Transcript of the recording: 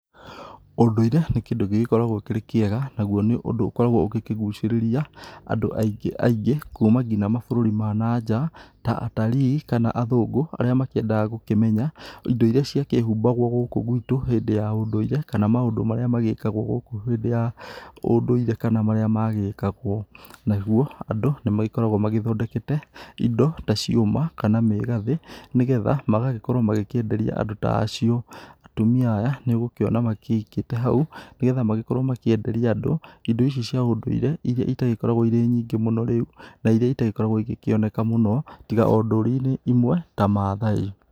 Ũndũire nĩ kĩndũ gĩgĩkoragwo kĩrĩ kĩega, naguo nĩ ũndũ ũkoragwo ũkĩgucĩrĩria andũ aingĩ aingĩ kuma nginya mabũrũri ma na nja, ta atarii kana athũngũ arĩa makĩendaga gũkĩmenya indo iria ciakĩhumbagwo gũkũ gwĩtũ hĩndĩ ya ũndũire, kana maũndũ marĩa magĩkagwo gũkũ hĩndĩ ya ũndũire kana marĩa magĩkagwo. Naguo andũ nĩmakoragwo magĩthondekete indo ta ciũma kana mĩgathĩ, nĩgetha magagĩkorwo makĩenderia andũ ta acio. Atumia aya nĩũgũkĩona makĩigĩte hau, nĩgetha makorwo makĩenderia andũ, indo ici cia ũndũire iria itagĩkoragwo irĩ nyingĩ mũno rĩu na iria itagĩkoragwo ikĩoneka mũno tiga ndũrĩrĩ-inĩ imwe ta mathai.